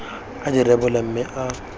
a di rebole mme a